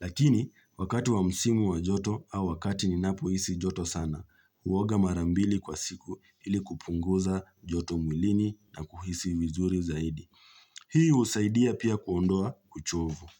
Lakini, wakati wa msimu wa joto au wakati ninapohisi joto sana, huoga mara mbili kwa siku ili kupunguza joto mwilini na kuhisi vizuri zaidi. Hii husaidia pia kuondoa uchovu.